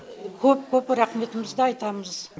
көп көп рахметімізді айтамыз